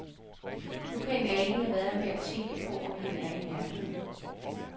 Nu kan jeg ikke lade være med at tænke på, om han er i nærheden.